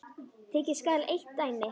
Tekið skal eitt dæmi.